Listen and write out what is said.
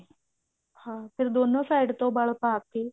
ਹਾਂ ਫ਼ੇਰ ਦੋਨੋ side ਤੋਂ ਵਲ ਪਾ ਕਿ